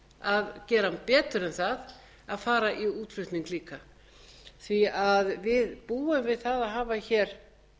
að gera betur en það að fara í útflutning líka við búum við það að hafa hér